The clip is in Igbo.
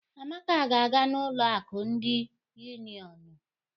Amaka ga-aga n'ụlọ akụ ndị Unionụ.